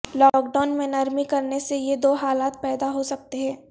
lock down میں نرمی کرنے سے یہ دو حالات پیدا ہو سکتے ہیں